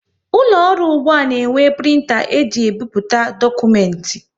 Ụlọ ọrụ ụgbụa na enwe printa e ji ebipụta dokumenti